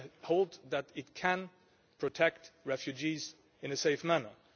I hold that it can protect refugees in a safe manner.